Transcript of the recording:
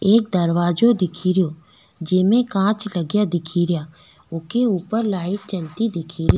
एक दरवाजा दिखेरो जेमे कांच लगा दिखेरो ऊके ऊपर लाइट जलती दिखेरी।